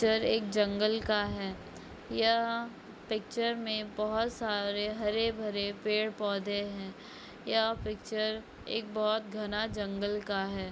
Picture एक जंगल का है यह पिक्चर में बहुत सारे हरे भरे पेड़-पौधे है यह पिक्चर एक बहुत घना जंगल का है।